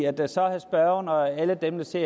mennesker